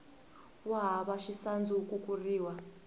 wo hava xisandzu wu kukuriwa